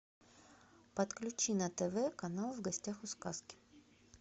подключи на тв канал в гостях у сказки